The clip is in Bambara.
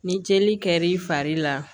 Ni jeli kɛr'i fari la